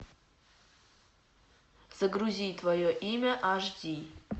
загрузи твое имя аш ди